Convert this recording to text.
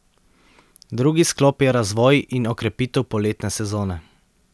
Drugi sklop je razvoj in okrepitev poletne sezone.